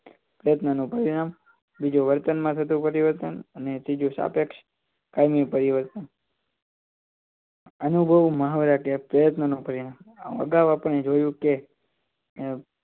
પ્રયત્નો નું પરિણામ બીજું વર્તન માં થતો પરિવર્તન અને ત્રીજું સાપેક્ષ કાયમી પરિવર્તન અનુભવ મહા વ્યાખ્યા પ્રયત્નો પરિવર્તન આગવ આપણે જોયું કે